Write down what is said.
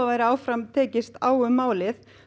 áfram tekist á um málið